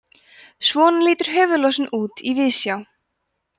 svona lítur höfuðlúsin út í víðsjá